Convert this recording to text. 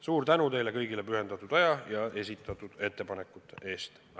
Suur tänu teile kõigile pühendatud aja ja esitatud ettepanekute eest!